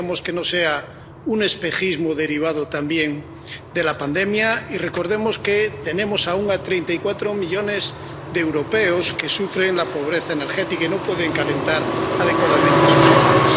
Esperemos que no sea un espejismo derivado también de la pandemia y recordemos que tenemos aún 34 millones de europeos que sufren la pobreza energética y no pueden calentar adecuadamente sus hogares.